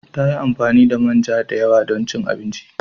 Ta yi amfani da manja da yawa don cin abinci.